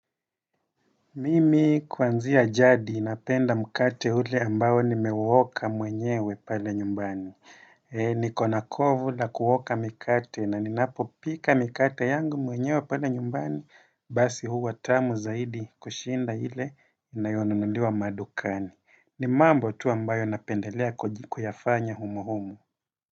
Mimi kuanzia jadi napenda mkate ule ambayo nimewoka mwenyewe pale nyumbani. Nikona kovu la kuwoka mikate na ninapopika mikate yangu mwenyewe pale nyumbani basi huwa tamu zaidi kushinda ile inayonunuliwa madukani. Ni mambo tu ambayo napendelea kuyafanya humuhumu.